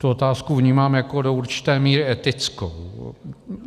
Tu otázku vnímám jako do určité míry etickou.